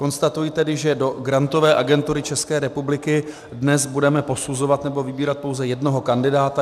Konstatuji tedy, že do Grantové agentury České republiky dnes budeme posuzovat nebo vybírat pouze jednoho kandidáta.